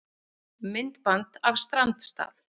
Myndband af strandstað